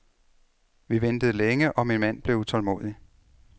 Vi ventede længe og min mand blev utålmodig.